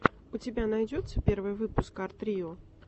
у тебя найдется первый выпуск арт рио